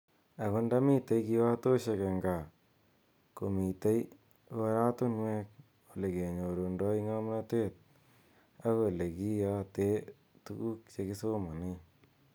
Ako nda mitei kiwatoshek eng kaa komiteikoratunwek ole kenyurundoi ngamnete ak ole kiyate tukuk je ki somane.